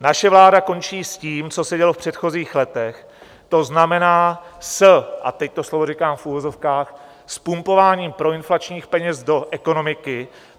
Naše vláda končí s tím, co se dělo v předchozích letech, to znamená - a teď to slovo říkám v uvozovkách - s pumpováním proinflačních peněz do ekonomiky.